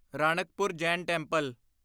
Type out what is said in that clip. Ranakpur Jain temple